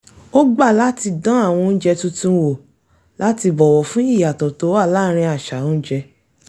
ó gbà láti dán àwọn oúnjẹ tuntun wò láti bọ̀wọ̀ fún ìyàtọ̀ tó wà láàrín àṣà oúnjẹ